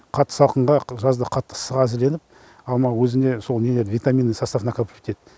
қатты салқынға жазда қатты ыстыққа әзірленіп алма өзінде сол нелерді витаминдік состав накопливайтетеді